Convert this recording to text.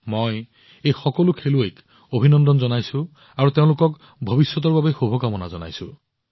মই এই সকলো খেলুৱৈক অভিনন্দন জনাইছো আৰু তেওঁলোকক ভৱিষ্যতৰ বাবে শুভকামনা জনাইছো